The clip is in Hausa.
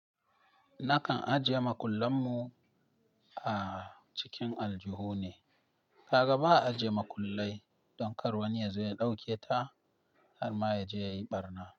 Nakan ajiye makullan mu a cikin aljihu ne. Ka ga ba a ajiye makullai don kar wani ya zo ya ɗauke ta har ma ya je ya yi ɓarna.